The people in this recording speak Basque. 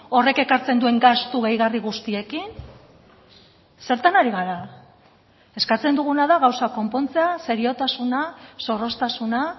horrek ekartzen duen gastu gehigarri guztiekin zertan ari gara eskatzen duguna da gauza konpontzea seriotasuna zorroztasuna